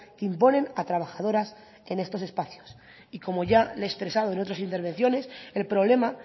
que imponen a trabajadoras en estos espacios y como ya le he expresado en otras intervenciones el problema